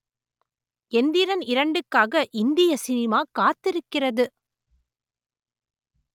எந்திரன் இரண்டுக்காக இந்திய சினிமா காத்திருக்கிறது